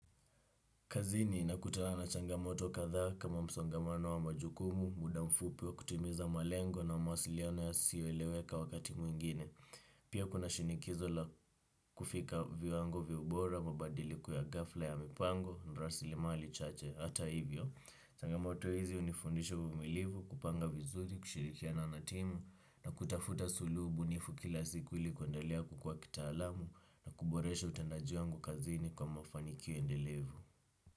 Kazini nakutana na changamoto kadhaa kama msongamano wa majukumu, muda mfupi wa kutimiza malengo na mawasiliano yasiyoeleweka wakati mwingine. Pia kuna shinikizo la kufika viwango vya ubora, mabadiliko ya ghafla ya mipango, na rasilimali chache. Hata hivyo changamoto hizi hunifundisha uvimilivu, kupanga vizuri, kushirikiana na timu, na kutafuta suluhu bunifu kila siku ili kuendalea kukua kitaalamu, na kuboresha utendaji wangu kazini kwa mafanikio endelevu.